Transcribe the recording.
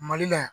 Mali la yan